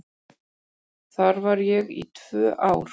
Þar var ég í tvö ár.